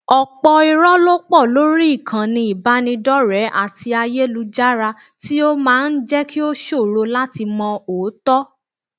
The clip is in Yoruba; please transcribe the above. Ọ̀pọ̀ irọ́ ló pọ̀ lórí ìkànnì ìbánidọ́rẹ̀ẹ́ àti ayélujára tí ó máa ń jẹ́ kí ó ṣòro láti mọ òótọ́